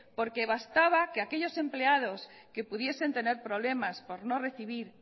porque bastaba que aquellos empleados que pudiesen tener problema por no recibir